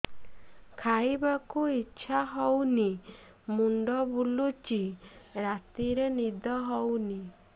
ଖାଇବାକୁ ଇଛା ହଉନି ମୁଣ୍ଡ ବୁଲୁଚି ରାତିରେ ନିଦ ହଉନି